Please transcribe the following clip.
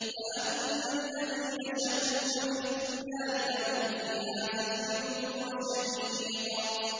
فَأَمَّا الَّذِينَ شَقُوا فَفِي النَّارِ لَهُمْ فِيهَا زَفِيرٌ وَشَهِيقٌ